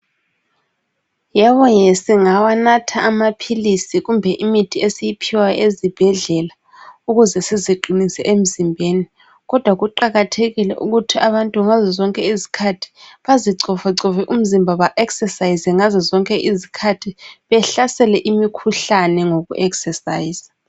Yebo ye singawanatha amaphilisi kumbe imithi esiyiphiwa ezibhedlela, ukuze siziqinise emizimbeni, kodwa kuqakathekile ukuthi abantu ngazozonke izikhathi bazicovacove umzimba ba eksesayize ngazo zonke izikhathi. Behlasele imikhuhlane ngoku eksesayiza.